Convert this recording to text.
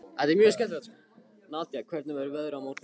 Nadia, hvernig verður veðrið á morgun?